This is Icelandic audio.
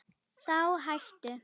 Þá hættu